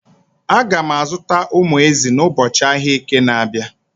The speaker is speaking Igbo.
Aga m azụta umu ezi ụbọchị ahịa Eke na-abịa.